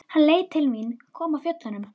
Hann leit til mín, kom af fjöllum.